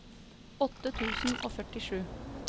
åtte tusen og førtisju